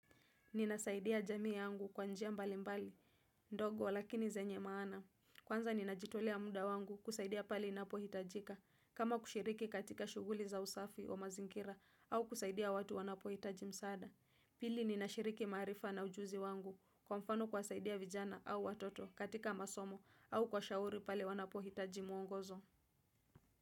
Ninasaidia jamii yangu kwa njia mbali mbali. Ndogo lakini zenye maana. Kwanza ninajitolea muda wangu kusaidia pale inapohitajika. Kama kushiriki katika shuguli za usafi wa mazingira au kusaidia watu wanapohitaji msaada. Pili ninashiriki maarifa na ujuzi wangu kwa mfano kuwasaidia vijana au watoto katika masomo au kuwashauri pale wanapohitaji mwongozo.